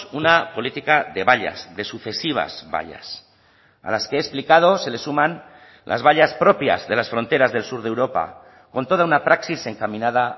una política de vallas de sucesivas vallas a las que he explicado se les suman las vallas propias de las fronteras del sur de europa con toda una praxis encaminada